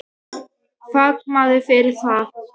Fagmaður fyrir það.